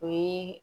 O ye